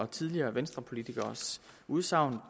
tidligere venstrepolitikeres udsagn